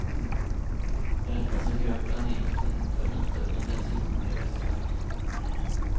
Med detta som grund planerades det för nattöppna bensinmackar och restauranger.